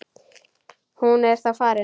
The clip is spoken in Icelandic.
Hún er þá farin.